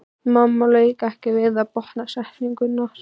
Mamma lauk ekki við að botna setninguna.